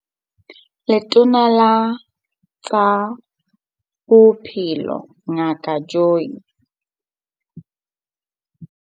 Letona la tsa Bophelo Ngaka Joe.